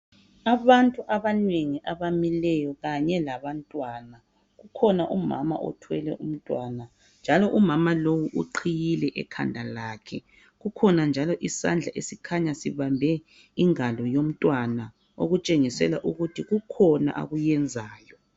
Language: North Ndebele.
Abantu abanengi abamileyo kanye labantwana kukhona umama othwele umntwana njalo umama lowu uqhiyile ekhanda lakhe kukhona njalo isandla esikhanya sibambe ingalo yomntwana okutshengisela ukuthi kukhona akuyenzayo.